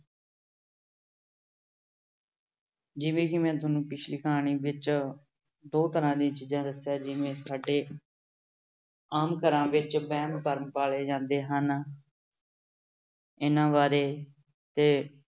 ਜਿਵੇਂ ਕਿ ਮੈਂ ਤੁਹਾਨੂੰ ਪਿੱਛਲੀ ਕਹਾਣੀ ਵਿੱਚ ਦੋ ਤਰ੍ਹਾਂ ਦੀਆਂ ਚੀਜ਼ਾਂ ਦੱਸੀਆਂ ਜਿਵੇਂ ਸਾਡੇ ਆਮ ਘਰਾਂ ਵਿੱਚ ਵਹਿਮ ਭਰਮ ਪਾਲੇ ਜਾਂਦੇ ਹਨ ਇਹਨਾਂ ਬਾਰੇ ਤੇ